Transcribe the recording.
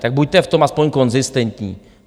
Tak buďte v tom aspoň konzistentní.